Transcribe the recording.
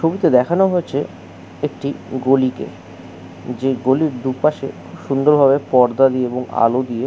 ছবিতে দেখানো হয়েছে একটি গলি কে যে গলির দুপাশে সুন্দরভাবে পর্দা দিয়ে এবং আলো দিয়ে --